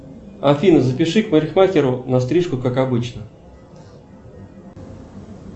афина запиши к парикмахеру на стрижку как обычно